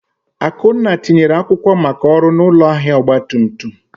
Akunna tinyere akwụkwọ maka ọrụ na ụlọ ahịa ọgba tum tum.